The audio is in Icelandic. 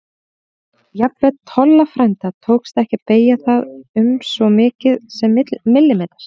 Jafnvel Tolla frænda tókst ekki að beygja það um svo mikið sem millimeter.